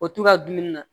O tu ka dumuni na